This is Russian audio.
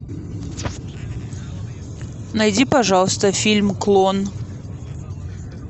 найди пожалуйста фильм клон